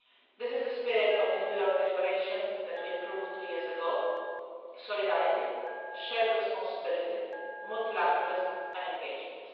This is the spirit of the New York Declaration that we approved two years ago solidarity, shared responsibility, multilateralism and engagement.